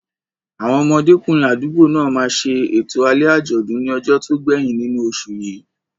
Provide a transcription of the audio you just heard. Àwọn ọmọdékùnrin àdúgbò náà máa ṣe ètò alẹ́ àjọ̀dún ní ọjọ́ tó gbẹ̀yìn nínú oṣù yìí.